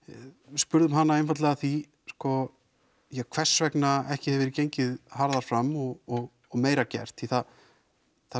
spurðum hana einfaldlega að því sko hvers vegna ekki hefði verið gengið harðara fram og og meira gert því það það